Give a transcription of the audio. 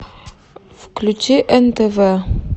включи нтв